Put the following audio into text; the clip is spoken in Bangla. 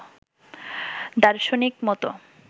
দার্শনিক মত